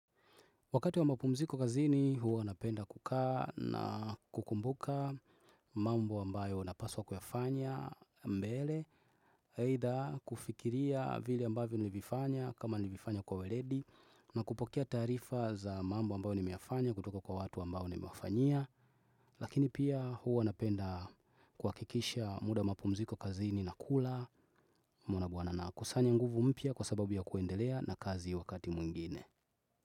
Wakati wa mapumziko kazini huwa napenda kukaa na kukumbuka mambo ambayo napaswa kuyafanya mbele. Aidha kufikiria vile ambavyo nilifanya kama nilivifanya kwa weledi na kupokea taarifa za mambo ambayo nimeyafanya kutoka kwa watu ambao nimewafanyia. Lakini pia huwa napenda kuhakikisha muda wa mapumziko kazini nakula umeona bhana nakusanya nguvu mpya kwa sababu ya kuendelea na kazi wakati mwingine.